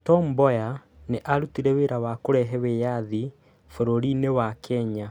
Tom Mboya nĩ aarutire wĩra wa kũrehe wĩyathi bũrũri-inĩ wa Kenya.